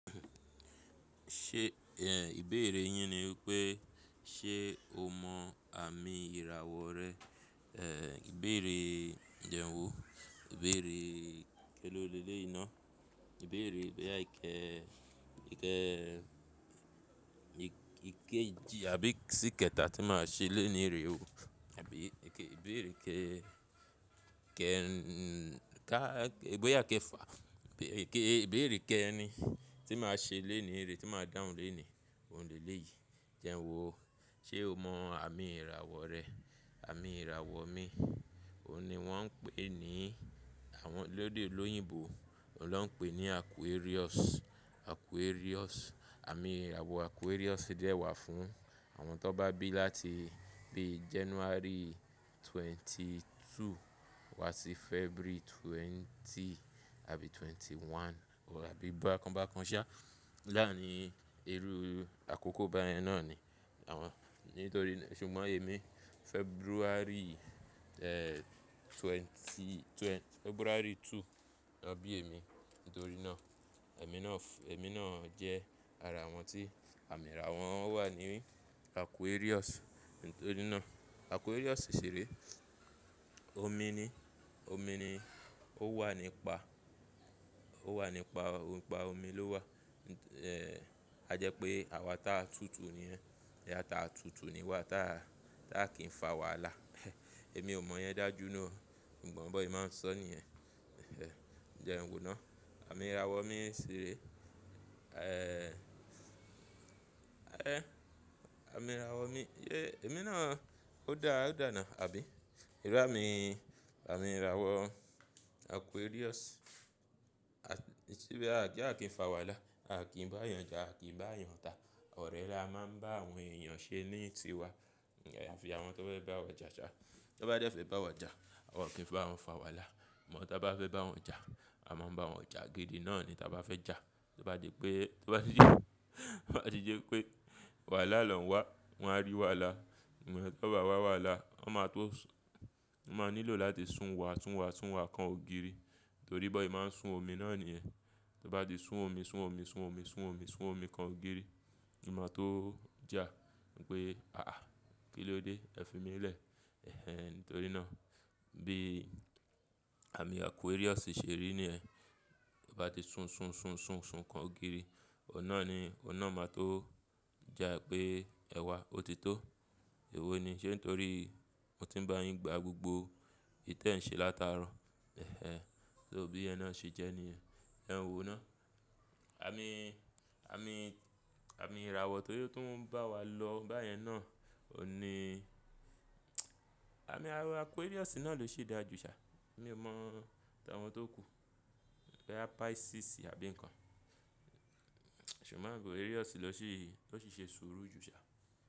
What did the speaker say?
Ṣé ìbéèrè yín ni wípé ṣe o mọ àmì ìràwọ̀ rẹ? Eh ìbéèrè jẹ́ n wo? Ìbéèrè kélò lélé iná. Ìbéèrè bóyá ike ike ìkejì àbí sí kẹta tí máa ṣe lónìí rè o. Àbí ike ìbéèrè ke kẹrin ka bóyá kéfa ìbéèrè ke ẹrin tí máa ṣe lénìí rè tí máa dáhùn lénìí. Òun lè léyìí. Jẹ́ n wo. Ṣé o mọ àmì ìràwọ̀ rẹ? Àmì ìràwọ̀ mi, òun ni wọ́n ń pè ní àwọn lédè olóyìnbò, òun ló ń pè ní Aquarius. Aquarius. Àmì ìràwọ̀ Aquarius di ẹ wà fún àwọn tó bá bí láti bí January twenty two wá sí February twenty àbí twenty one. Òun àbí bá kan bá kan ṣa láàní ẹrú àkókò báyẹn náà ni àwọn nítorí ṣùgbọ́n èmi February eh twenty twenty February two ni wọ́n bí èmi. Nítorí náà èmi náà èmi náà jẹ́ ara àwọn tí àmì ìrà wọn wà ní Aquarius. Nítorí náà Aquarius ṣì rè. Omi ni omi ni ó wà nípa ó wà nípa nípa omi ló wà. Eh a jẹ pé àwa ta tútù ni ẹ́ yà ta tútù ni wà ta táà kì í fa wàhálà. Èmi ò mọ yẹn dájú ná. Nǹ kan mọ̀ bí wọ́n ṣè máa ń sọ ní ẹ́. Jẹ́ n wo náà. Àmì ìràwọ̀ mi ṣì rè. Eh àmì ìràwọ̀ mi iye èmi náà ó dá á dàna àbí? Ìlú àmì àmì ìràwọ̀ Aquarius. A ti bí a kí a kì í fa wàhálà. A kì í bá èèyàn jà, a kì í bá èèyàn ta. Ọ̀rẹ́ la máa ń bá àwọn èèyàn ṣe ní tiwa. Ẹ fi àwọn tó fẹ́ bá wa jà ṣá. Tó bá dé fẹ́ bá wa jà, a ò kí ń bá wọn fa wàhálà. Ìmọ̀ tó bá fẹ́ bá wọn jà, a máa ń bá wọn jà gidi náà ni táa bá fẹ́ jà. Tó bá di pé tó bá di tó bá di yí pé wàhálà lọ́n wá, wọn á rí wàhálà. Ìmọ̀ tó bá wá wàhálà, wọn máa tó máa nílò láti sùn wà sùn wà sùn wà kan ògiri. Nítorí bó ṣè máa ń sun omi náà nìyẹn. Tó bá ti sun omi sun omi sun omi sun omi sun omi kan ògiri. Ìmọ̀ tó jà wípé àáà kí ló dé ẹ fi mí lẹ̀. Eh ẹ nítorí náà bí àmì Aquarius ṣì ṣe rí niẹ́. Ó bá ti sun sun sun sun sun kan ògiri. Òunnà ni òunnà máa tó jà pé ẹwa ó ti tó. Èwo ni ṣé nítorí mo ti ń bá yín gba gbogbo ìtẹ́ ń ṣe látara. Eh ẹ tó bí yẹn náà ṣe jẹ́ niẹ́. Ẹ n wo ná. Àmì àmì àmì ìràwọ̀ tó yó tó ń bá wa lọ báyẹn náà òní àmì àmì Aquarius náà ló sì dáa jù ṣá. Èmi ò mọ̀ táwọn tó kú. Ọ̀yà Pisces àbí ǹkan. Ṣùgbọ́n Aquarius ló sì ló sì ṣe sùúrù jù ṣá.